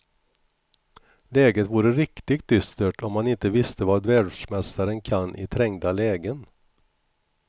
Läget vore riktigt dystert om man inte visste vad världsmästaren kan i trängda lägen.